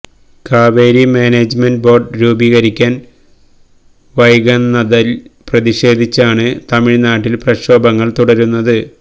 Kaveri management board രൂപീകരിക്കാന് വൈകന്നതില് പ്രതിഷേധിച്ചാണ് തമിഴ്നാട്ടില് പ്രക്ഷോഭങ്ങള് തുടരുന്നത്